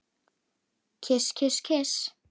Kyss, kyss, kyss.